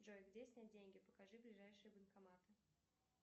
джой где снять деньги покажи ближайшие банкоматы